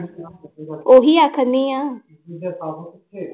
ਉਹੀ ਆਖਣਡੀ ਹਾਂ